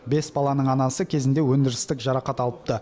бес баланың анасы кезінде өндірістік жарақат алыпты